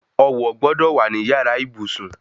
Ọwọ̀ gbọ́dọ̀ wà ní yàrá ìbùsùn